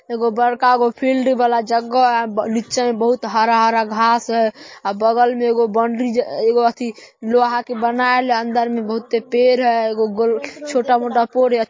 एगो बड़कागो फील्ड वाला जग्गह हे आ ब निच्चा में बहुत हरा-हरा घास है आ बगल में एगो बाउंड्री ज एगो अथि लोहा के बनाएल हे अंदर में बहुते पेड़ हय एगो गोल छोटा-मोटा --